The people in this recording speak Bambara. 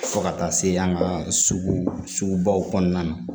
Fo ka taa se an ka sugu baw kɔnɔna na